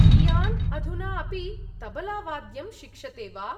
कियान् अधुना अपि तबलावाद्यं शिक्षते वा?